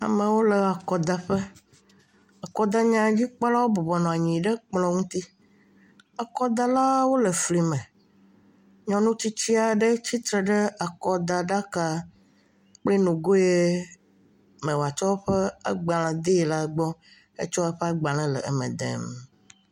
Amewo le akɔdaƒe, Akɔdanyadzikpɔlawo bɔbɔ nɔ anyi ɖe kplɔ̃ ŋuti. Akɔdalawo le flime. Nyɔnu tsitsi ɖe tɔ ɖe akɔdaɖaka kple nugo yɛ mɛ wòatsɔ eƒe agbalẽ dee la gbɔ. Etsɔ eƒe agbalẽ le eme dem.